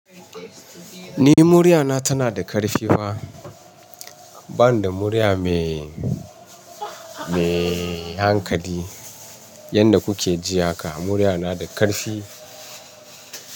Ni dai murya na tana da ƙarfi fa, bani da murya mai, mai hankali yanda kuke ji haka. Murya na da ƙarfi.